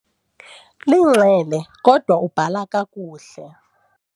Linxele kodwa ubhala kakuhle.